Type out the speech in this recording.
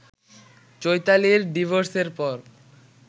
চৈতালির ডিভোর্সের পর